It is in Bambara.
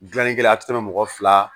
Gilannikɛla a ti tɛmɛ mɔgɔ fila